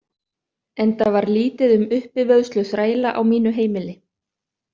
Enda var lítið um uppivöðslu þræla á mínu heimili.